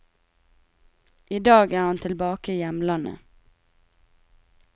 I dag er han tilbake i hjemlandet.